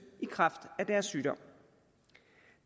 i kraft af deres sygdom